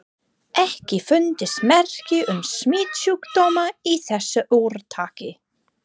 EKKI FUNDUST MERKI UM SMITSJÚKDÓMA Í ÞESSU ÚRTAKI.